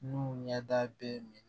N'u ɲɛda bɛɛ minɛ